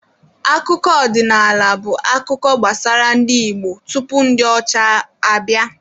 Akụkọ ọdịnaala bụ akụkọ gbasara ndị Igbo tupu ndi ọcha abịa.